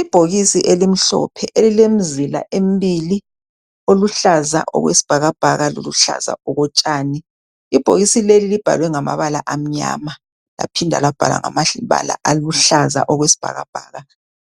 Ibhokisi elimhlophe elilemzila embili, oluhlaza okwesibhakabhaka loluhlaza okotshani. Ibhokisi leli libhalwe ngamabala amnyama laphinda labhalwa ngamabala aluhlaza okwesibhakabhaka.